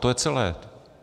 To je celé.